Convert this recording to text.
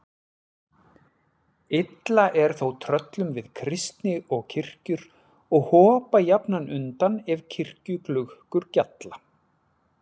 Illa er þó tröllum við kristni og kirkjur og hopa jafnan undan ef kirkjuklukkur gjalla.